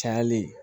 Cayalen